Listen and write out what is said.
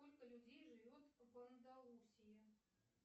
сколько людей живет в андалусии